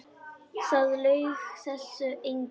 Það laug þessu enginn.